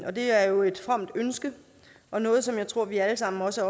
og det er jo et fromt ønske og noget som jeg tror at vi alle sammen også